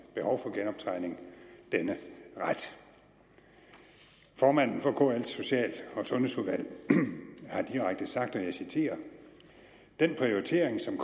behov for genoptræning denne ret formanden for kl’s social og sundhedsudvalg har direkte sagt og jeg citerer … den prioritering som